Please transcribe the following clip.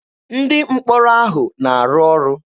Ndị mkpọrọ ahụ na-arụ ọrụ.